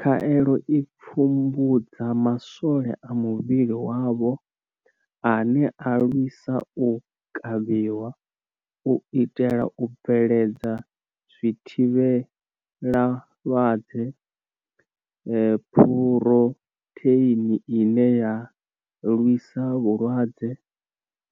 Khaelo i pfumbudza maswole a muvhili wavho ane a lwisa u kavhiwa, u itela u bveledza zwithivhelama malwadze Phurotheini ine ya lwisa vhulwadze,